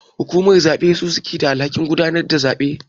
Hukumar zabe su suke da alhakin gudanar da zabe.